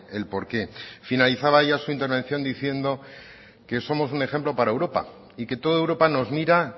el por qué finalizaba ella su intervención diciendo que somos un ejemplo para europa y que toda europa nos mira